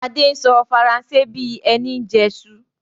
Adé ń sọ Faransé bí ẹni ń jẹsu